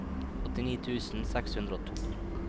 åttini tusen seks hundre og to